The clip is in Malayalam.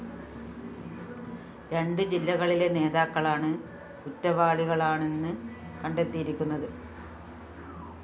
രണ്ട് ജില്ലകളിലെ നേതാക്കളാണ് കുറ്റവാളികളാണെന്ന് കണ്ടെത്തിയിരിക്കുന്നത്